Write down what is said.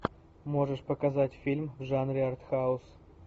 можешь показать фильм в жанре артхаус